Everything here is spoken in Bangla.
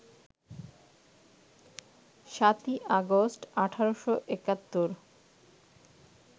৭ই আগস্ট, ১৮৭১